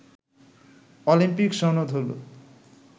Olympic সনদ হল